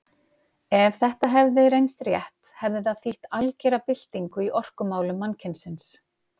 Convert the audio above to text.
Ef þetta hefði reynst rétt hefði það þýtt algera byltingu í orkumálum mannkynsins.